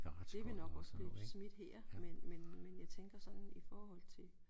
Det vil nok også blive smidt her men men men jeg tænker sådan i forhold til